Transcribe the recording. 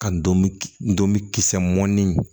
Ka don k kisɛ mɔɔni